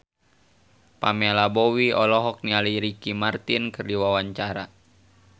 Pamela Bowie olohok ningali Ricky Martin keur diwawancara